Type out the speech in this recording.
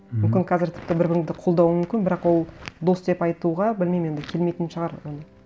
мхм мүмкін қазір тіпті бір біріңді қолдауың мүмкін бірақ ол дос деп айтуға білмеймін енді келмейтін шығар оны